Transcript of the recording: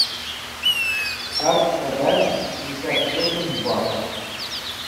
как продать пятьдесят восемь батов